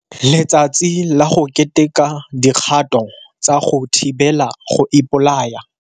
Letsatsi la go Keteka Dikgato tsa go Thibela go Ipolaya.